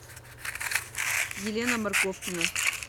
елена морковкина